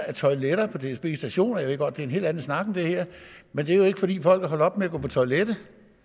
toiletter på dsbs stationer jeg ved godt at en helt anden snak men det er jo ikke fordi folk er holdt op med at gå på toilettet